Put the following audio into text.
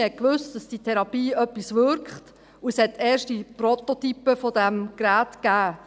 Man wusste, dass die Therapie wirkt, und es gab erste Prototypen dieses Geräts.